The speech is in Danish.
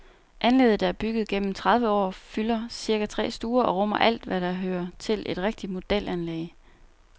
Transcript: Anlægget, der er opbygget gennem tredive år, fylder cirka tre stuer og rummer alt, hvad der hører til et rigtig modelanlæg.